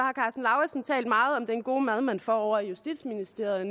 talt meget om den gode mad man får ovre i justitsministeriet